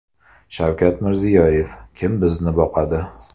Shavkat Mirziyoyev: Kim bizni boqadi?